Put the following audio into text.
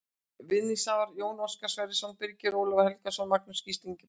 Vinningshafar: Jón Óskar Sverrisson Birgir Ólafur Helgason Magnús Gísli Ingibergsson